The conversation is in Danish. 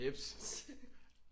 Jeps